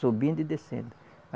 Subindo e descendo.